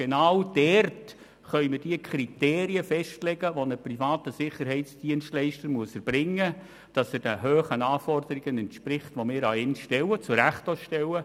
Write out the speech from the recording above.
Dabei können wir die Kriterien festlegen, die ein privater Sicherheitsdienstleister erbringen muss, damit er den hohen Anforderungen entspricht, die wir zu Recht an ihn stellen.